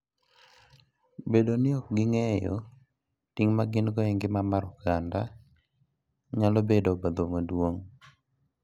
Bedo ni ok ging'eyo ting' ma gin-go e ngima mar oganda, nyalo bedo obadho maduong'.